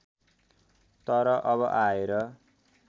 तर अब आएर